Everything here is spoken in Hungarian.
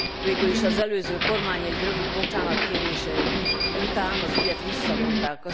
Végül az előző kormány egy rövid bocsánatkérése után az ügyet visszavonták.